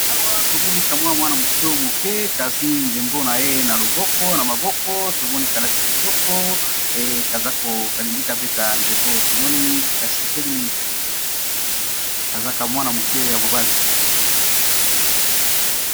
Awa tomoni kamwa mwana moke moke kazwi ndembo na ye na loboko na maboko tomoni kalati kitoko ezaokalingi kapeta ndembo tomoni kasepeli mingi kazaka mwana moke ya mobali.